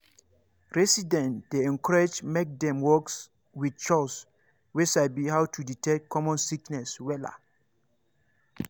residents dey encouraged make dem work wit chws wey sabi how to detect common sickness wella